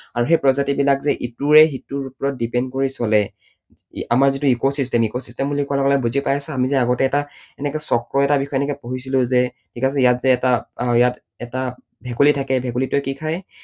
আৰু সেই প্ৰজাতিবিলাক যে ইটোৱে সিটোৰ ওপৰত depend কৰি চলে, আমাৰ যিটো ecosystem, ecosystem বুলি কোৱাৰ লগে লগে বুজি পাইছা? আমি যে আগতে এটা এনেকৈ চক্ৰ এটাৰ বিষয়ে এনেকৈ পঢ়িছিলো যে, ঠিক আছে, ইয়াত যে এটা আহ ইয়াত এটা ভেকুলী থাকে, ভেকুলীটোৱে কি খায়